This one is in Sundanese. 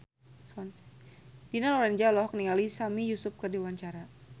Dina Lorenza olohok ningali Sami Yusuf keur diwawancara